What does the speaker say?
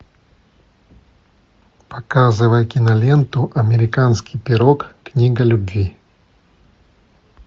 показывай киноленту американский пирог книга любви